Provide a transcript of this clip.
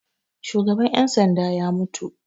Shugaban 'yan sanda ya mutu.